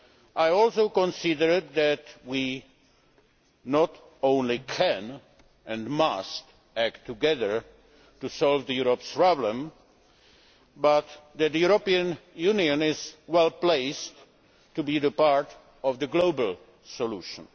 I also consider that we not only can and must act together to solve Europe's problems, but also that the European Union is well placed to be part of the global solution.